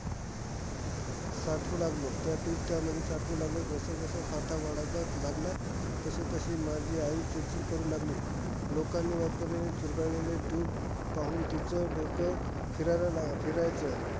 साठवू लागलो. त्या tube त्यामध्ये tube साठवू लागलो. जसजसं साठा वाढायचा लागला, तशीतशी माझी आई चिडचिड करु लागली. लोकांनी वापरलेले चुरगळलेले tube पाहून तीच डोक फिरायला लाग फिरायचं.